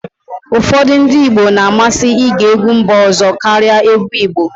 ụfọdụ ndị Igbo na-amasị ige egwu mba ọzọ karịa egwu Igbo